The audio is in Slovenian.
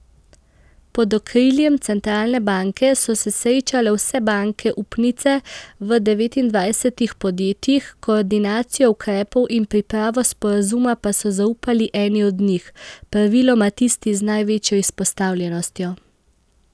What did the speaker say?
Pod okriljem centralne banke so se srečale vse banke upnice v devetindvajsetih podjetjih, koordinacijo ukrepov in pripravo sporazuma pa so zaupali eni od njih, praviloma tisti z največjo izpostavljenostjo.